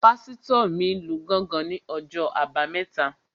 Pásítọ̀ mi lu gángan ní ọjọ́ àbámẹ́ta